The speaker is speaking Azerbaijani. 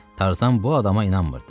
Tarzan bu adama inanmırdı.